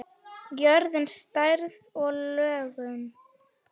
Jörðin, stærð og lögun